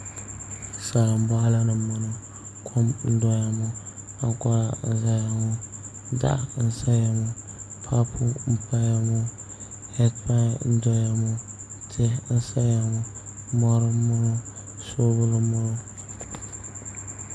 Salin boɣali ni n boŋo kom n doya ŋo ankora n ʒɛya ŋo tahali n ʒɛya ŋo paapu n paya ŋo heed pai n doya ŋo tihi n saya ŋo mori n boŋo soobuli n boŋo